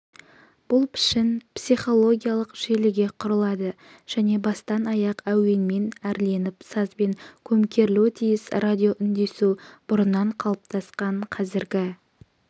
бұл пішін психологиялық желіге құрылады және бастан-аяқ әуенмен әрленіп сазбен көмкерілуі тиіс радиоүндесу бұрыннан қалыптасқан қазіргі